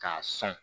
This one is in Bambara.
K'a san